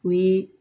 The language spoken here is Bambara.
O ye